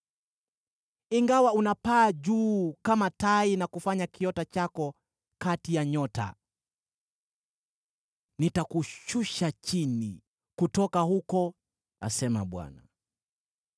Ingawa unapaa juu kama tai na kufanya kiota chako kati ya nyota, nitakushusha chini kutoka huko,” asema Bwana .